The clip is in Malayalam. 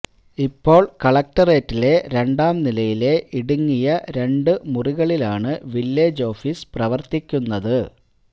ഇപ്പോൾ കലക്ടറേറ്റിലെ രണ്ടാം നിലയിലെ ഇടുങ്ങിയ രണ്ടു മുറികളിലാണ് വില്ലേജ് ഒാഫിസ് പ്രവർത്തിക്കുന്നത്